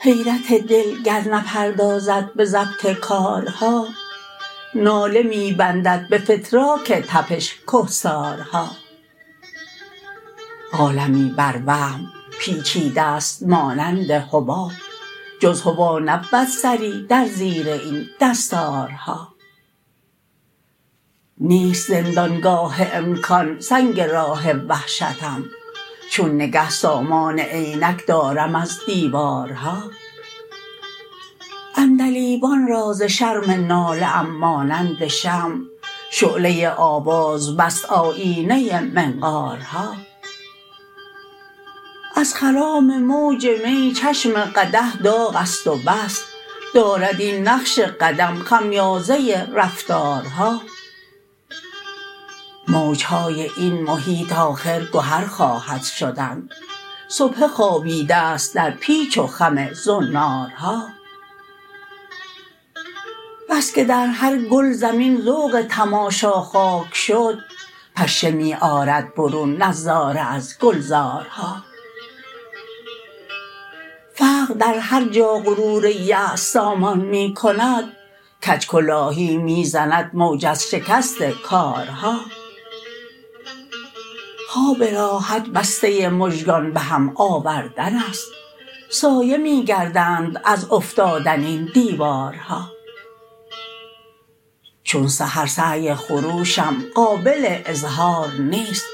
حیرت دل گر نپردازد به ضبط کارها ناله می بندد به فتراک تپش کهسارها عالمی بر وهم پیچیده ست مانند حباب جز هوا نبود سری در زیر این دستارها نیست زندانگاه امکان سنگ راه وحشتم چون نگه سامان عینک دارم از دیوارها عندلیبان را ز شرم ناله ام مانند شمع شعله آواز بست آیینه منقارها از خرام موج می چشم قدح داغ است و بس دارد این نقش قدم خمیازه رفتارها موجهای این محیط آخرگهر خواهد شدن سبحه خوابیده ست در پیچ و خم زنارها بسکه درهرگل زمین ذوق تماشا خاک شد پشه می آرد برون نظاره ازگلزارها فقر در هرجا غرور یأس سامان می کند کجکلاهی می زند موج از شکست کارها خواب راحت بسته مژگان به هم آورد ن است سایه می گردند از افتادن این دیوارها چون سحر سعی خروشم قابل اظهار نیست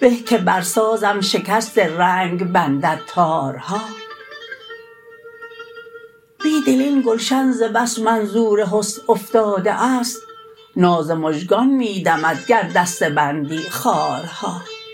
به که برسازم شکست رنگ بندد تارها بیدل این گلشن ز بس منظورحسن افتاده است ناز مژگان می دمد گر دسته بندی خارها